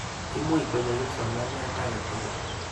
Imuch konyo kipsomaniat ake tukul.